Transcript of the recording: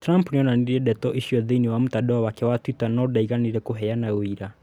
Trump nĩ onanirie ndeto icio thĩinĩ wa mũtandao wake wa Twitter no ndaigana kũheana ũira